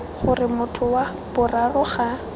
gore motho wa boraro ga